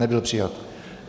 Nebyl přijat.